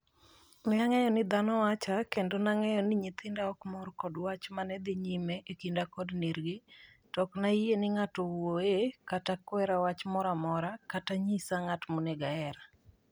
Neang'eyo ni dhano wacha, kendo nang'eyo ni nyithinda okmor kod wach manedhi nyime e kinda kod nergi ,to oknayie ni ng'ato wuoye kata kwera wach moro amora, kata nyisa ng'at monego aher.